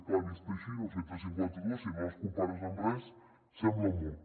clar vist així no nou cents i cinquanta dos si no les compares amb res sembla molt